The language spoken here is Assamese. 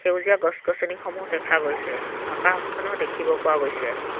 সেউজীয়া গছ-গছনিসমূহ দেখা গৈছে আকাশখনো দেখিব পোৱা গৈছে।